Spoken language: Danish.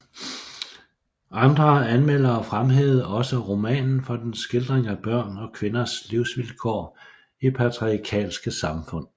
Andre anmeldere fremhævede også romanen for dens skildring af børn og kvinders livsvilkår i patriarkalske samfund